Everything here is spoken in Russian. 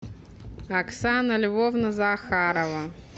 оксана львовна захарова